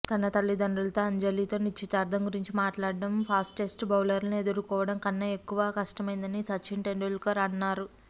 తన తల్లిదండ్రులతో అంజలితో నిశ్చితార్థం గురించి మాట్లాడడం ఫాస్టెస్ట్ బౌలర్లను ఎదుర్కోవడం కన్నా ఎక్కువ కష్టమైందని సచిన్ టెండూల్కర్ అన్నారు